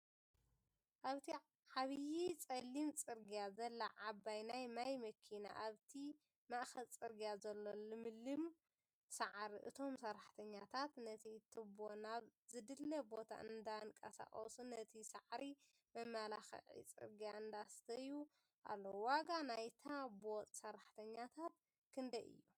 ኣብቲ ዓብዪ ፀሊም ፅርግያ ዘላ ዓባይ ናይ ማይ መኪና ኣብቲ ማእከል ፅርግያ ዘሎ ልምሉም ሳዕሪ እቶም ሰራሕተኛታት ነቲ ትቦ ናብ ዝድለ ቦታ እንዳንቀሳቀሱ ነቲ ሳዕሪ መመላክዒ ፅርግያ እንዳስተዩ ኣለዉ፡፡ ዋጋ ናይታ ቦጥ ሰራሕተኛታት ክንደይ እዮም?